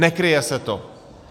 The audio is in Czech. Nekryje se to.